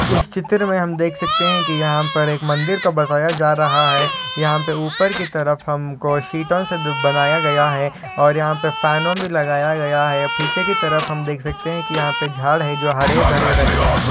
इस चित्र में हम देख सकते हैं कि यहां पर एक मंदिर का बताया जा रहा है यहां पर ऊपर की तरफ हमको सीटों से बनाया गया है और यहां पर फॅनो भी लगाया गया है पीछे की तरफ हम देख सकते हैं की यहां पर झाड़ है जो हरे भरे रंग में है।